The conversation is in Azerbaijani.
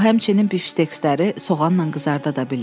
O, həmçinin bifşteksləri soğanla qızarda da bilir.